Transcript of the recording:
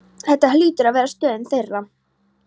Þetta hlýtur að vera stöðin þeirra.